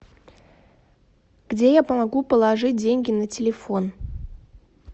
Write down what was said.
где я могу положить деньги на телефон